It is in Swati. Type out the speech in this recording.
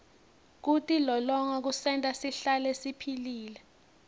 kutilolonga kusenta sihlale siphilile